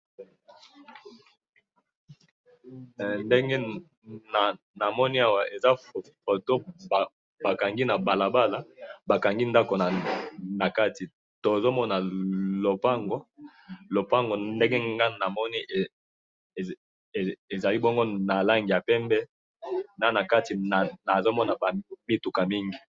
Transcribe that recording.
he ndenge namoni awa eza foto bakangi na balabala bakangi ndanko nakati, tozomona lopango, lopango ndenge ngayi namoni ezali bongo na langi ya pembe na kati nazomona mituka mingi